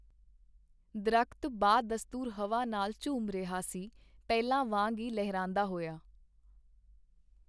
ਦਰਖ਼ਤ ਬਾਦਸਤੂਰ ਹਵਾ ਨਾਲ ਝੂਮ ਰਿਹਾ ਸੀ , ਪਹਿਲਾ ਵਾਂਗ ਈ ਲਹਿਲਹਾਉਂਦਾ ਹੋਇਆ .